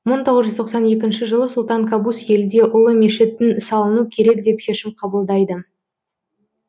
мың тоғыз жүз тоқсан екінші жылы сұлтан кабус елде ұлы мешіттің салыну керек деп шешім қабылдайды